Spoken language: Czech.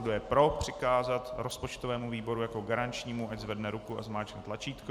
Kdo je pro přikázat rozpočtovému výboru jako garančnímu, ať zvedne ruku a zmáčkne tlačítko.